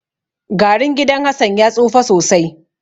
Garun gidan Hassan ya tsufa sosai.